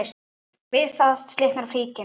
Við þetta slitnar flíkin.